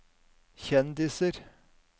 kjendiser